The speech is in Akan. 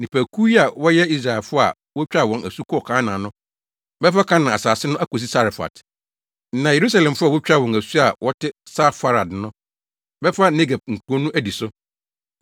Nnipakuw yi a wɔyɛ Israelfo a wotwaa wɔn asu kɔɔ Kanaan no bɛfa Kanaan asase no akosi Sarefat; na Yerusalemfo a wotwaa wɔn asu a wɔte Safarad no bɛfa Negeb nkurow no adi so.